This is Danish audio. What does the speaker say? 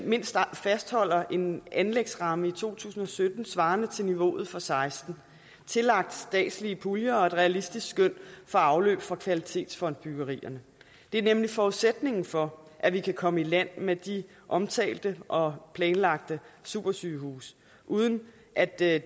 mindst fastholder en anlægsramme i to tusind og sytten svarende til niveauet for seksten tillagt statslige puljer og et realistisk skøn for afløb for kvalitetsfondbyggerierne det er nemlig forudsætningen for at vi kan komme i land med de omtalte og planlagte supersygehuse uden at der